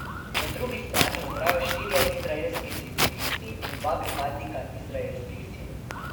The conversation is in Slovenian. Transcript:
Na drugi strani umrejo štirje izraelski civilisti in dva pripadnika izraelskih sil.